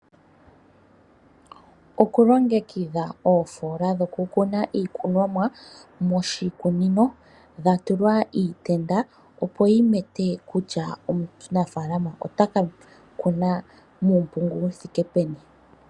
Okulongekidha oofoola dhoku kuna iikunomwa moshikunino dha tulwa iitenda opo yimete kutya omunafaalama ota ka kuna muumpungu wu thike peni.